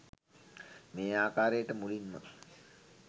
මේ ආකාරයට මුලින්ම